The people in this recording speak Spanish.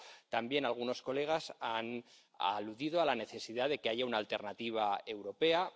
Pero, también, algunas señorías han aludido a la necesidad de que haya una alternativa europea.